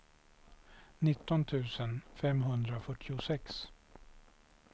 nitton tusen femhundrafyrtiosex